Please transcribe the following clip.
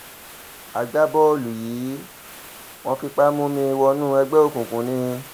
agbábọ́ọ̀lù yìí wọ́n fipá mú mi wọnú ẹgbẹ́ òkùnkùn ni